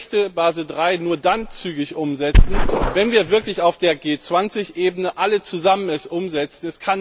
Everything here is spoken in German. Aber ich möchte Basel III nur dann zügig umsetzen, wenn wir es auf der G20 Ebene alle zusammen umsetzen.